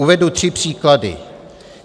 Uvedu tři příklady.